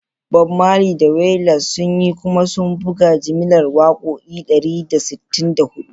Bob Marley da Wailers sun yi kuma sun buga jimillar wakoki dari da sittin da hudu.